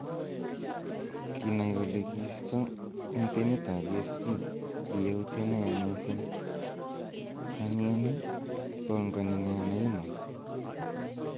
Kinai kole kistoo en timit ab PSG, ki yautiet neya mising- Anii any iih, pongoni nee Neymar?